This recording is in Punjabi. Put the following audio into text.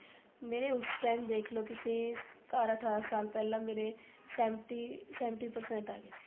ਮੇਰੇ ਉਸ time ਦੇਖੋ ਲੋ ਤੁਸੀਂ ਸਤਾਰਾਂ ਅਠਾਰਾ ਸਾਲ ਪਹਿਲਾਂ ਮੇਰੇ seventy seventy percent ਆ ਗਏ ਸੀ